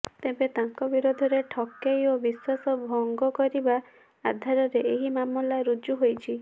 ତେବେ ତାଙ୍କ ବିରୋଧରେ ଠକେଇ ଓ ବିଶ୍ୱାସ ଭଙ୍ଗ କରିବା ଆଧାରରେ ଏହି ମାମଲା ରୁଜୁ ହୋଇଛି